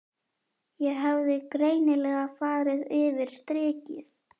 Ég hafði greinilega farið yfir strikið.